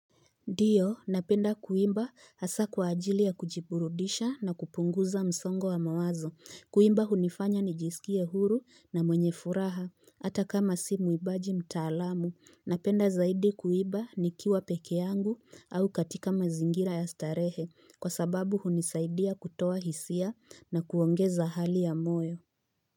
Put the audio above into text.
Ndiyo napenda kuimba, hasa kwa ajili ya kujiburudisha na kupunguza msongo wa mawazo. Kuimba hunifanya nijisikie huru na mwenye furaha, hata kama si mwimbaji mtaalamu napenda zaidi kuimba nikiwa peke yangu au katika mazingira ya starehe kwa sababu hunisaidia kutoa hisia na kuongeza hali ya moyo.